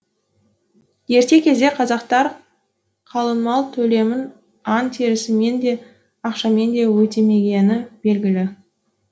ерте кезде қазақтар қалыңмал төлемін аң терісімен де ақшамен де өтемегені белгілі